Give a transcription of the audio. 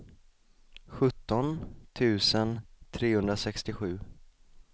sjutton tusen trehundrasextiosju